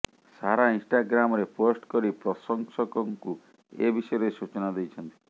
ସାରା ଇନଷ୍ଟାଗ୍ରାମରେ ପୋଷ୍ଟ କରି ପ୍ରଶଂସକଙ୍କୁ ଏବିଷୟରେ ସୂଚନା ଦେଇଛନ୍ତି